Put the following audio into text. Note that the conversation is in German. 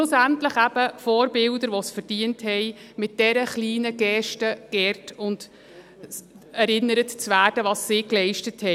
schlussendlich eben Vorbilder, die es verdient haben, mit dieser kleinen Geste geehrt zu werden und dass daran erinnert wird, was sie geleistet haben.